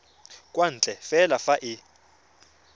kwa ntle fela fa e